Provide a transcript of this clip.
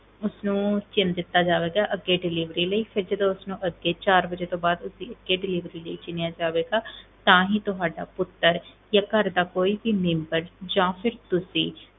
ਉਸਨੂੰ ਚਿਣ ਦਿੱਤਾ ਜਾਵੇਗਾ ਅੱਗੇ delivery ਲਈ, ਫਿਰ ਜਦੋਂ ਉਸਨੂੰ ਅੱਗੇ ਚਾਰ ਵਜੇ ਤੋਂ ਬਾਅਦ ਉਸਦੀ ਅੱਗੇ delivery ਲਈ ਚਿਣਿਆ ਜਾਵੇਗਾ ਤਾਂ ਹੀ ਤੁਹਾਡਾ ਪੁੱਤਰ ਜਾਂ ਘਰ ਦਾ ਕੋਈ ਵੀ ਮੈਂਬਰ ਜਾਂ ਫਿਰ ਤੁਸੀਂ